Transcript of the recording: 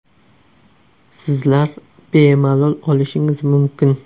Sizlar bemalol olishingiz mumkin.